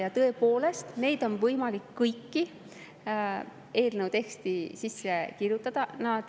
Ja tõepoolest, neid kõiki on võimalik eelnõu teksti sisse kirjutada.